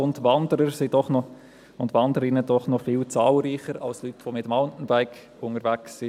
Und Wanderer und Wanderinnen sind doch noch viel zahlreicher als Leute, die mit dem Mountainbike unterwegs sind.